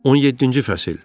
17-ci fəsil.